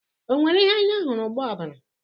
O nwere ihe anya hụrụ gba ọbara?